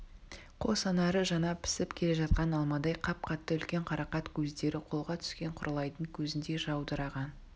қос анары жаңа пісіп келе жатқан алмадай қап-қатты үлкен қарақат көздері қолға түскен құралайдың көзіндей жаудыраған